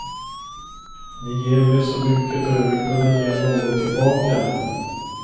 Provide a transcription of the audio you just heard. Ni ger mig så mycket och jag vill kunna ge något tillbaka.